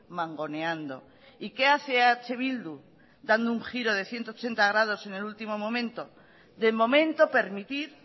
mangoneando y qué hace eh bildu dando un giro de ciento ochenta grados en el último momento de momento permitir